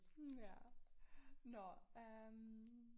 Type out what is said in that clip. Ja nåh øh